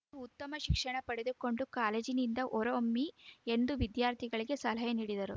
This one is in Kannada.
ನೀವು ಉತ್ತಮ ಶಿಕ್ಷಣ ಪಡೆದುಕೊಂಡು ಕಾಲೇಜಿನಿಂದ ಹೊರಹೊಮ್ಮಿ ಎಂದು ವಿದ್ಯಾರ್ಥಿಗಳಿಗೆ ಸಲಹೆ ನೀಡಿದರು